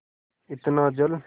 इतना जल